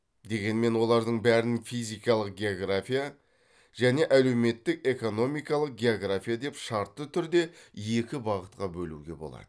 дегенмен олардың бәрін физикалық география және әлеуметтік экономикалық география деп шартты түрде екі бағытқа бөлуге болады